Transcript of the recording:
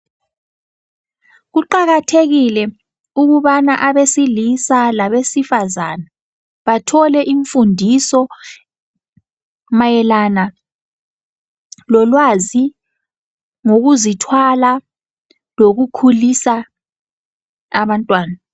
Kuqakathekile ukubana abesilisa labesifazane bathole imfundiso mayelana lolwazi, ngokuzithwala lokukhulisa abantwana.